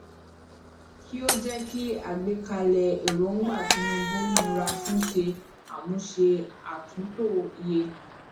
kí o jẹ kí àgbékalẹ èròngbà tinubu nira fún ṣe àmúse atunto yẹ